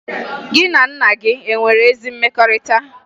Gị na nna gị e nwere ezi mmekọrịta?